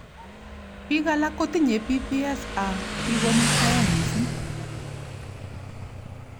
Bik alak kotinye PPS ak kikomuitaei missing.